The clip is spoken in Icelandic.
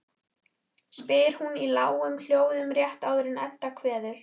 spyr hún í lágum hljóðum rétt áður en Edda kveður.